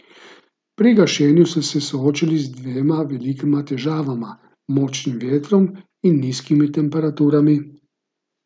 Pri gašenju so se soočali z dvema velikima težavama, močnim vetrom in nizkimi temperaturami.